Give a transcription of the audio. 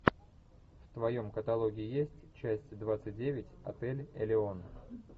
в твоем каталоге есть часть двадцать девять отель элеон